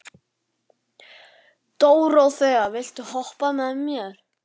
Dóróþea, viltu hoppa með mér?